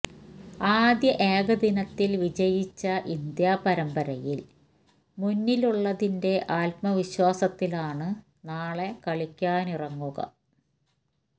ആദ്യ ഏകദിനത്തിൽ വിജയിച്ച ഇന്ത്യ പരമ്പരയിൽ മുന്നിലുള്ളതിന്റെ ആത്മവിശ്വാസത്തിലാണ് നാളെ കളിക്കാനിറങ്ങുക